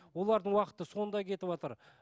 олардың уақыты сонда кетіватыр